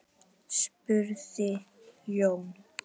spurði Jón